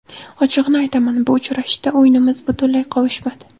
Ochig‘ini aytaman, bu uchrashda o‘yinimiz butunlay qovushmadi.